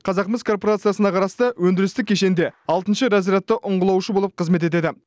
қазақмыс корпорациясына қарасты өндірістік кешенде алтыншы разрядты ұңғылаушы болып қызмет етеді